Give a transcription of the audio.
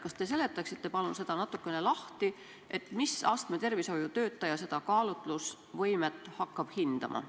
Kas te palun seletaksite natukene lahti, mis astme tervishoiutöötaja seda kaalutlusvõimet hindama hakkab?